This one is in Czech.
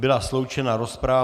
Byla sloučena rozprava.